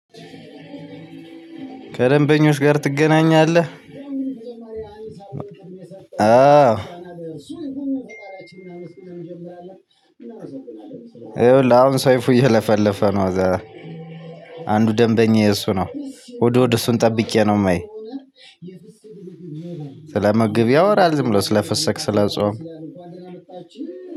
ከደንበኞች ጋር ትገናኛለህ አው የውልህ አሁን ሰይፉ እየለፈለፈ ነው። አንዱ ደንበኛዬ እሱ ነው እሁድ እሁድ እሱን ጠብቄ ነው ማይ ስለምግብ ያወራል ስለፍስክ ስለፆም።